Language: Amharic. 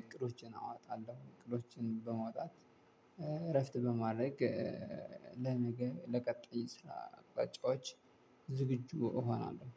እቅዶችን አዋጣለሁ እቅዶችን በማውጣት እረፍት በማድረግ ለነገ ለቀጣይ ስራ አቅጣጫዎች ዝግጁ እሆናለሁ